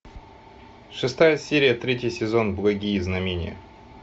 шестая серия третий сезон благие знамения